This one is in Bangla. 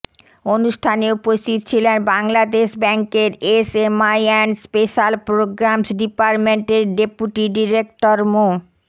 অনুষ্ঠানে উপস্থিত ছিলেন বাংলাদেশ ব্যাংকের এসএমই অ্যান্ড স্পেশাল প্রোগ্রামস ডিপার্টমেন্টের ডেপুটি ডিরেক্টর মো